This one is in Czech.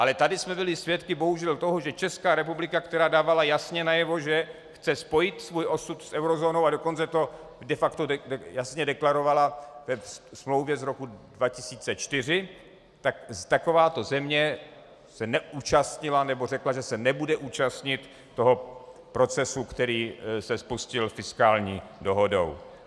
Ale tady jsme byli svědky, bohužel, toho, že Česká republika, která dávala jasně najevo, že chce spojit svůj osud s eurozónou, a dokonce to de facto jasně deklarovala ve smlouvě z roku 2004, tak takováto země se neúčastnila, nebo řekla, že se nebude účastnit toho procesu, který se spustil fiskální dohodou.